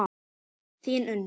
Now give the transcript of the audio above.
Þín Unnur.